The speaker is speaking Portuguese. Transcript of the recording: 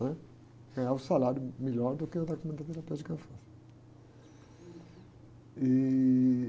né? Ganhava um salário melhor do que o da clínica terapêutica, e...